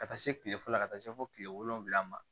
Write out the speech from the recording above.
Ka taa se kile fɔlɔ la ka taa se fo kile wolonwula ma